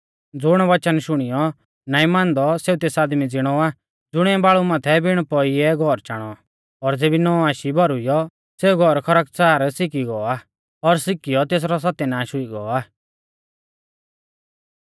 ज़ुण वच़न शुणियौ नाईं मानदौ सेऊ तेस आदमी ज़िणौ आ ज़ुणिऐ बाल़ु माथै बिण पौई ऐ घौर चाणौ और ज़ेबी नौ आशी भौरुईयौ सेऊ घौर खरकच़ार सिकी गौ आ और सिकी औ तेसरौ सत्यानाष हुई गौ आ